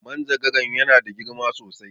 Manjagaran ya na da girma sosai